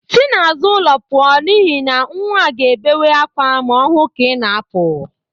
Si n'azụ ụlọ pụọ n'ihi na nwa a ga-ebewe akwa ma ọ hụ ka ị na-apụ.